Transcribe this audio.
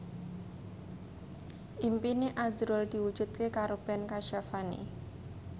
impine azrul diwujudke karo Ben Kasyafani